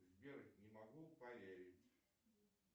сбер не могу поверить